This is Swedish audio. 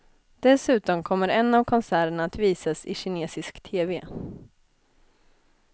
Dessutom kommer en av konserterna att visas i kinesisk tv.